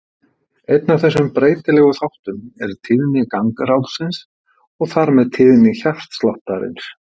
Einn af þessum breytilegu þáttum er tíðni gangráðsins og þar með tíðni hjartsláttarins.